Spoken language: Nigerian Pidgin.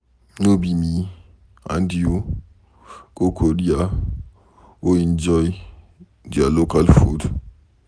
No be me and you go Korea go enjoy their local food?